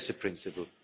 That is a principle.